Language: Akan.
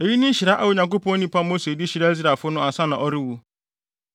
Eyi ne nhyira a Onyankopɔn nipa Mose de hyiraa Israelfo no ansa na ɔrewu: